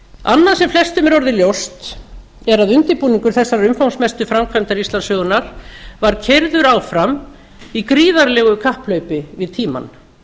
annað sem flestum er orðið ljóst er að undirbúningur þessarar umfangsmestu framkvæmdar íslandssögunnar var keyrður áfram í gríðarlegu kapphlaupi við tímann